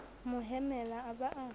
mo hemela a ba a